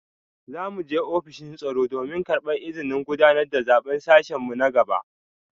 Za mu je ofishin tsaro domin karbar izinin gudanar da zaben sashen mu na gobe